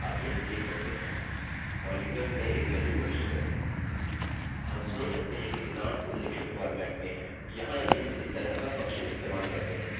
जब मैं आज का दिन क्लिक करता हूँ आप यहाँ देख सकते हैं कि हमें वर्ष एक 4अंक फॉर्मेट में मिला है और हमारा महीना यहाँ और हमारा दिन यहाँ हाईफंस से अलगअलग हैं